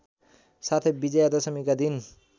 साथै विजयादशमीका दिन